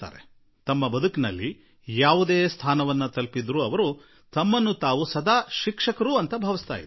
ಅವರು ಜೀವನದಲ್ಲಿ ಮತ್ತಾವುದೇ ಉನ್ನತ ಸ್ಥಾನಕ್ಕೆ ಏರಿದರೂ ಅವರು ತಮ್ಮಷ್ಟಕ್ಕೆ ತಾವು ಯಾವಾಗಲೂ ಶಿಕ್ಷಕರಾಗಿಯೇ ಬದುಕುವ ಪ್ರಯತ್ನ ನಡೆಸಿದರು